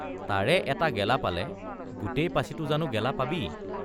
তাৰে এটা গেলা পালে গোটেই পাছিটো জানো গেলা পাবি?